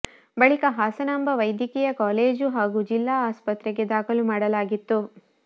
ಬಳಿಕ ಹಾಸನಾಂಬ ವೈದ್ಯಕೀಯ ಕಾಲೇಜು ಹಾಗೂ ಜಿಲ್ಲಾ ಆಸ್ಪತ್ರೆಗೆ ದಾಖಲು ಮಾಡಲಾಗಿತ್ತು